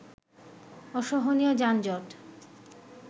অসহনীয় যানজট